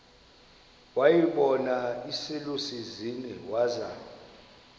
wayibona iselusizini waza